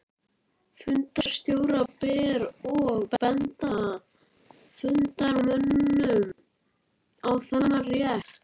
Fundarstjóra ber að benda fundarmönnum á þennan rétt.